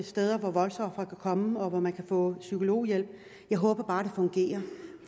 steder hvor voldsofre kan komme og hvor man kan få psykologhjælp jeg håber bare det fungerer